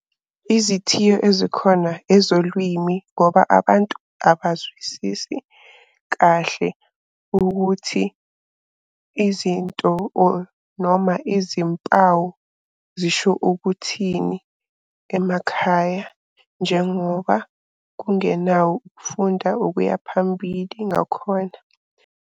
Izithiyo ezikhona ezolwimi ngoba abantu abazwisisi kahle ukuthi izinto or noma izimpawu zisho ukuthini emakhaya njengoba kungenawo ukufunda okuya phambili ngakhona.